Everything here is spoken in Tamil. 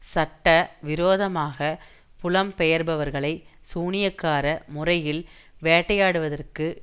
சட்ட விரோதமாக புலம்பெயர்பவர்களை சூனியக்கார முறையில் வேட்டையாடுவதற்கு